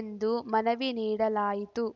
ಎಂದು ಮನವಿ ನೀಡಲಾಯಿತು